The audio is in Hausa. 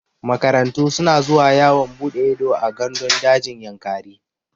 Makarantu suna zuwa yawon buɗe ido a gandun dajin Yankari.